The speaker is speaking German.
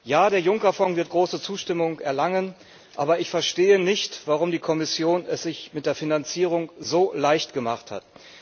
Ja, der Juncker Fonds wird große Zustimmung erlangen, aber ich verstehe nicht, warum die Kommission es sich mit der Finanzierung so leicht gemacht hat.